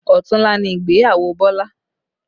Ọ̀tunla ni ìgbéyàwó Bọlá